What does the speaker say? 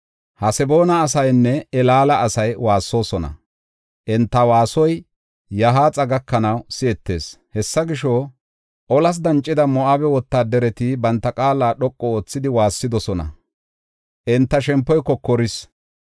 Haseboona asaynne Elaala asay waassoosona; enta waasoy Yahaaxa gakanaw si7etees. Hessa gisho, olas dancida Moo7abe wotaadareti banta qaala dhoqu oothidi waassidosona; enta shempoy kokoris.